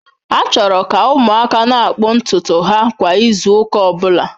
A chọrọ ka ụmụaka na-akpụ ntutu ha kwa izu ụka ọ bụla.